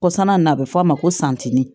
Kɔsanna na a bɛ fɔ a ma ko santiri